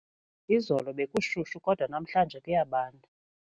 Izolo bekushushu kodwa namhlanje kuyabanda.